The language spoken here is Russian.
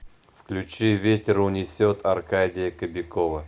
включи ветер унесет аркадия кобякова